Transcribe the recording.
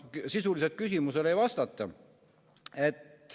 Sisuliselt küsimusele ei vastata.